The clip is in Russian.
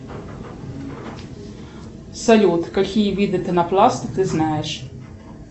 салют какие виды пенопласта ты знаешь